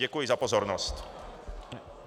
Děkuji za pozornost.